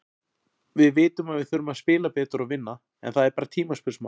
Við vitum að við þurfum að spila betur og vinna, en það er bara tímaspursmál.